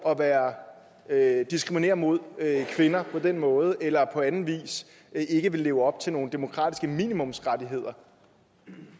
at diskriminere mod kvinder på den måde eller på anden vis ikke ville leve op til nogle demokratiske minimumsrettigheder